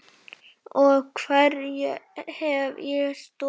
Og hverju hef ég stolið?